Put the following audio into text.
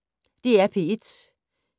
DR P1